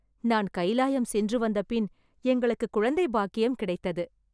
நான் கைலாயம் சென்று வந்த பின், எங்களுக்கு குழந்தை பாக்கியம் கிடைத்தது.